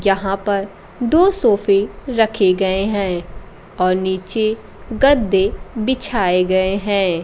यहां पर दो सोफे रखे गए है और नीचे गद्दे बिछाए गए है।